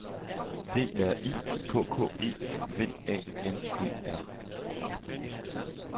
D R I K K E V A N E R